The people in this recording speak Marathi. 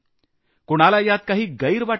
कुणाला यात काही गैर वाटत नाही